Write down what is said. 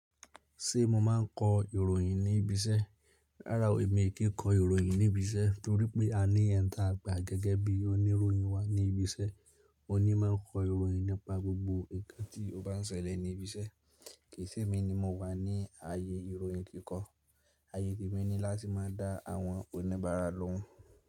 Ṣé mo máa ń kọ ìròyìn ní ibi iṣẹ́? Rárá o, èmi ò kí ń kọ ìròyìn ní ibi iṣẹ́ torí pé a ní ẹ́n tí a gbà gẹ́gẹ́ bí oníròyìn wa ní ibi iṣẹ́. O ní máa ń kọ ìròyìn nípa gbogbo ǹkan tí ó bá ń ṣẹlẹ̀ ní ibi iṣẹ́. Kì í ṣe èmi ni mo wà ní ààyè ìròyìn kíkọ. Ààyè è mi ni láti má a dá àwọn oníbàárà lóhùn.